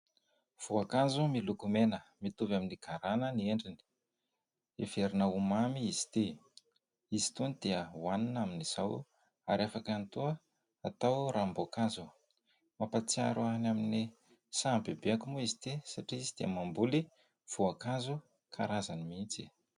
Voankazo miloko mena mitovy amin'ny garana ny endriny, heverina ho mamy izy ity. Izy itony dia hoanina amin'izao ary afaka ihany koa atao ranomboankazo. Mampahatsiaro ahy any amin'ny sahan'ny bebeako moa izy ity satria izy dia mamboly voankazo karazany mihitsy.